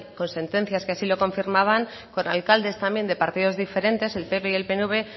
con sentencias que así lo confirmaban con alcaldes también de partidos diferentes el pp y el pnv